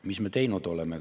Mida me teinud oleme?